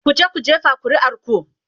"kuje ku jefa ƙuri'ar ku!